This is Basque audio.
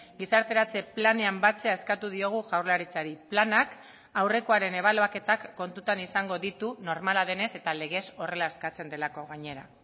gizarteratze planean batzea eskatu diogu jaurlaritzari planak aurrekoaren ebaluaketak kontutan izango ditu normala denez eta legez horrela eskatzen delako gainera